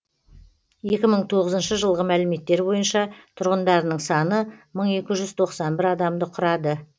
екі мың тоғызыншы жылғы мәліметтер бойынша тұрғындарының саны мың екі жүз тоқсан бір адамды құрады